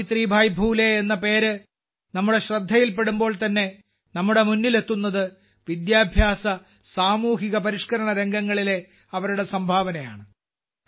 സാവിത്രിഭായ് ഫൂലെ എന്ന പേര് നമ്മുടെ ശ്രദ്ധയിൽപ്പെടുമ്പോൾ തന്നെ നമ്മുടെ മുന്നിലെത്തുന്നത് വിദ്യാഭ്യാസസാമൂഹ്യ പരിഷ്കരണ രംഗങ്ങളിലെ അവരുടെ സംഭാവനയാണ്